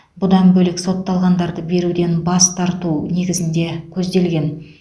бұдан бөлек сотталғандарды беруден бас тарту негізінде көзделген